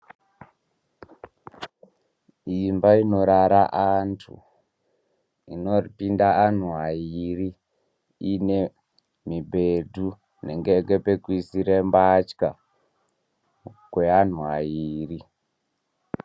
Imba inorara antu inopinda antu airi ine mibhedhu inenge ine pekuisira mbatya peanhtu airi.